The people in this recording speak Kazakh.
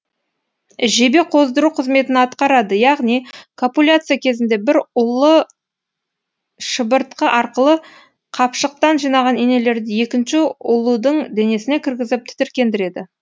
жебе қоздыру қызметін атқарады яғни копуляция кезінде бір ұлу шыбыртқы арқылы қапшықтан жинаған инелерді екінші ұлудың денесіне кіргізіп тітіркендіреді